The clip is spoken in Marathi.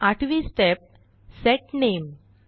आठवी स्टेप सेट नामे